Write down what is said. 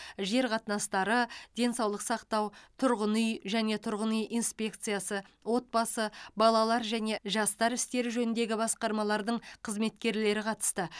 жер қатынастары денсаулық сақтау тұрғын үй және тұрғын үй инспекциясы отбасы балалар және жастар істері жөніндегі басқармалардың қызметкерлері қатысты